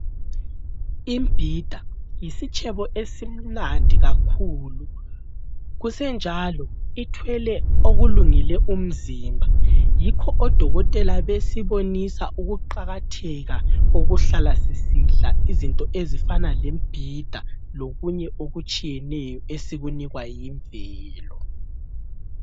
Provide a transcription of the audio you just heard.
Imbhida yisitshebo esimnandi kakhulu, kusenjalo ithwele okulungele umzimba. Yikho odokotela besibonisa ukuqakatheka kokuhlala sisidla izinto ezifana lembhida lokunye okutshiyeneyo esikunikwa yimvelo.